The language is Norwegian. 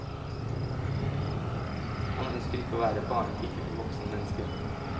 Man ønsker ikke å være barnepike for voksne mennesker.